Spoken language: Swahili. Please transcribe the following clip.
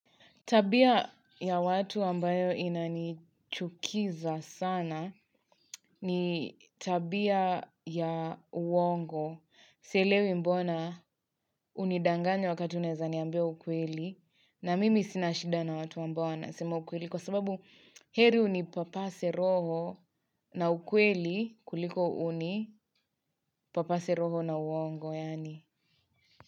Tabia ya watu ambayo inanichukiza sana ni tabia ya uongo. Sielewi mbona unidanganye wakati unaeza niambia ukweli na mimi sina shida na watu ambao wanasema ukweli. Kwa sababu heri unipapase roho na ukweli kuliko unipapase roho na uongo.